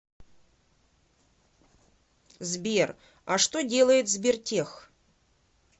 сбер а что делает сбертех